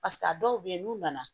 Paseke a dɔw bɛ yen n'u nana